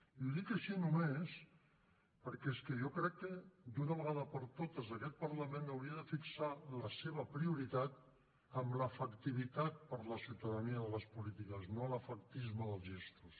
i ho dic així només perquè és que jo crec que d’una vegada per totes aquest parlament hauria de fixar la seva prioritat en l’efectivitat per la ciutadania de les polítiques no l’efectisme dels gestos